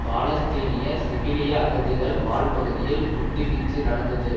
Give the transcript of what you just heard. பாலஸ்தீனிய சிவிலிய அகதிகள் வாழ் பகுதியில் குண்டு வீச்சு நடந்தது